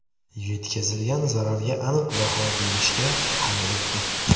Yetkazilgan zararga aniq baho berishga hali erta.